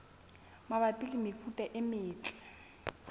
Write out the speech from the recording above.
mabapi le mefuta e metle